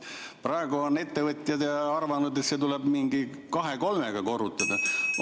Praegu on ettevõtjad arvanud, et see summa tuleb kahe või kolmega korrutada.